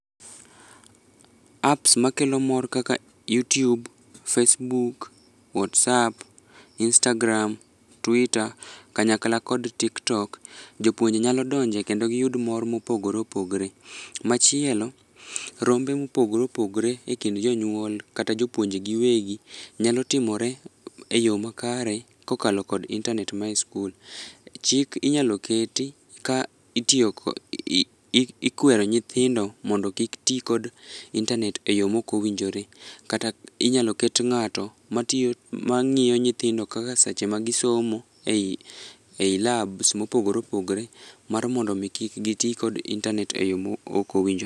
Apps makelo mor kaka youtube, facebook, whatsapp, instagram, twitter, kanyakla kod tiktok, jopuonje nyalo donje kedo giyud mor mopogore opogore. Machielo, rombe mopogore opogore e kind jonyuol kata jopuonj giwegi nyalo timore e yo makare kokalo kod internet ma e skul. Chik inyalo keti ka itiyo kod, ikwero nyithindo mondo kik ti kod internet e yo mok owinjore. Kata inyalo ket ng'ato matiyo, mang'iyo nyithindo kaka seche ma gi [c]somo ei labs mopogore opogore mar mondo mi kik gitii kod internet e yo ma ok owinjore.